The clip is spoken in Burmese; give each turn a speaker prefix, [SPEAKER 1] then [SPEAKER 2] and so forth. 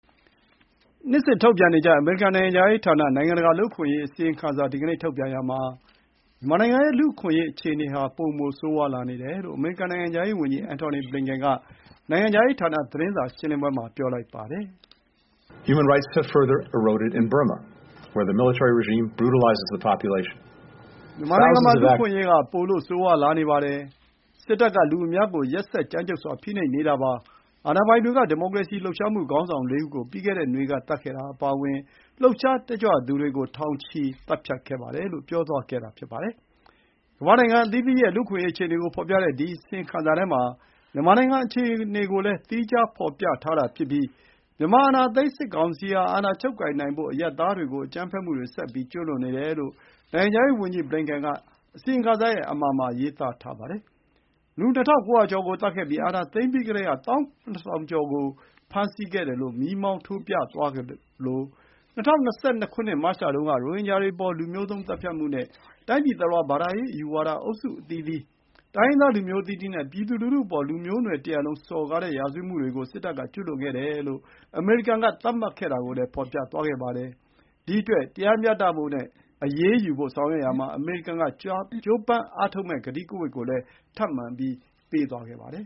[SPEAKER 1] နှစ်စဉ်ထုတ်ပြန်နေကျ အမေရိကန်နိုင်ငံခြားရေးဌာန နိုင်ငံတကာလူ့အခွင့်အရေးအစီရင်ခံစာကို ဒီကနေ့ထုတ်ပြန်ရာမှာ မြန်မာနိုင်ငံရဲ့လူ့အခွင့်အရေးအခြေအနေဟာ ပိုမို ဆိုးဝါးလာနေတယ်လို့ အမေရိကန်နိုင်ငံခြားရေးဝန်ကြီး Anthony Blinken က နိုင်ငံခြားရေးဌာန သတင်းစာရှင်းလင်းပွဲမှာ ပြောပါတယ်။
[SPEAKER 2] “မြန်မာနိုင်ငံမှာ လ
[SPEAKER 1] ူ့အခွင့်အရေးက ပိုလို့ ဆိုးဝါးလာနေပါတယ်။ စစ်တပ်က လူအများကို ရက်စက်ကြမ်းကြုတ်စွာ ဖိနှိပ်နေတာပါ။ အာဏာပိုင်တွေက ဒီမိုကရေစီလှုပ်ရှားမှု ခေါင်းဆောင် ၄ ဦး ကို ပြီးခဲ့တဲ့နွေကသတ်ခဲ့တာအပါအဝင် လှုပ်ရှားတက်ကြွသူတွေကို ထောင်ချီ သတ်ဖြတ်ခဲ့ပါတယ်" လို့ ပြောသွားခဲ့တာပါ။ ကမ္ဘာ့နိုင်ငံအသီးသီးရဲ့ လူ့အခွင့်အရေးအခြေအနေကိုဖော်ပြတဲ့ ဒီအစီရင်ခံစာထဲမှာ မြန်မာနိုင်ငံအခြေအနေကိုလည်း သီးခြားဖော်ပြထားတာဖြစ်ပြီး မြန်မာအာဏာသိမ်းစစ်ကောင်စီဟာ အာဏာချုပ်ကိုင်နိုင်ဖို့ အရပ်သားတွေကို အကြမ်းဖက်မှုတွေ ဆက်ကျူးလွန်နေတယ်လို့ နိုင်ငံခြားရေးဝန်ကြီး ဘလင်ကန်က အစီရင်ခံစာရဲ့ အမှာရေးသားထားပါတယ်။ လူ ၂,၉၀၀ ကျော်ကိုသတ်ခဲ့ပြီး အာဏာသိမ်းပြီးကတည်းက ၁၇,၀၀၀ ကျော်ကို ဖမ်းဆီးခဲ့တယ်လို့ မီးမောင်းထိုး ပြသွားသလို၊ ၂၀၂၂ မတ်လတုန်း က ရိုဟင်ဂျာတွေ အပေါ် လူမျိုးသုဉ်း သတ်ဖြတ်မှုနဲ့ တိုင်းပြည်တလွှား ဘာသာရေး အယူဝါဒအုပ်စုအသီးသီး၊ တိုင်းရင်းသားလူမျိုးအသီးသီးနဲ့ ပြည်သူလူထုအပေါ် လူသားမျိုးနွယ်တရပ်လုံးစော်ကားတဲ့ ရာဇဝတ်မှုတွေကို စစ်တပ်က ကျူးလွန်ခဲ့တယ်လို့ အမေရိကန်က သတ်မှတ်ခဲ့တာကိုလည်း ဖော်ပြသွားခဲ့ပါတယ်။ ဒီအတွက် တရားမျှဖို့နဲ့ အရေးယူဖို့ဆောင်ရွက်ရာမှာ အမေရိကန်က ကြိုးပမ်းအားထုတ်မယ့် ကတိကဝတ်ကိုလည်း ထပ်မံ ပြုသွားခဲ့ပါတယ်